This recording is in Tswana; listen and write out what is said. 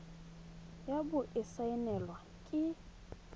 ya bo e saenilwe ke